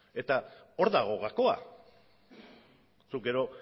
hor dago gakoa zuk gero